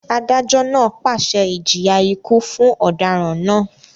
Adájọ́ náà pàṣẹ ìjìyà ikú fún ọ̀daràn náà